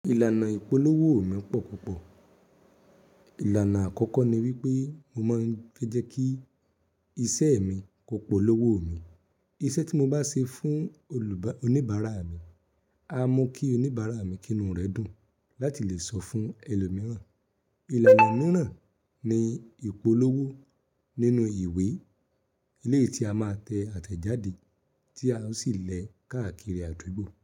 Ìlànà ìpolówó mi pọ̀ púpọ̀. Ìlànà àkọ́kọ́ ni wípé mo máa ń fẹ́jẹ́ kí iṣẹ́ mi kó polówó mi. Iṣẹ́ tí mo bá ṣe fún oníbàárà mi, a mú kí oníbàárà mi kí inú rẹ̀ dùn láti lè sọ fún ẹlòmíràn. Ìlànà mìíràn ni ìpolówó nínú ìwé eléyìí tí a máa tẹ àtẹ̀jáde tí a ó sì lẹ káàkiri àdúgbò.